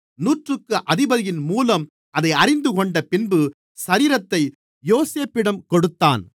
நூற்றுக்கு அதிபதியின் மூலம் அதைத் தெரிந்துகொண்டபின்பு சரீரத்தை யோசேப்பிடம் கொடுத்தான்